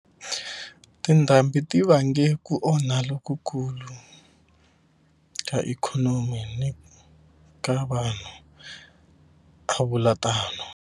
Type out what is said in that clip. Tindhambi ti vange ku onha lokukulu ka ikhonomi ni ka vanhu, a vula tano.